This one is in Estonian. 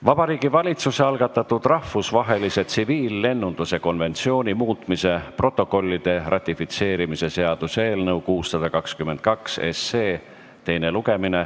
Vabariigi Valitsuse algatatud rahvusvahelise tsiviillennunduse konventsiooni muutmise protokollide ratifitseerimise seaduse eelnõu 622 teine lugemine.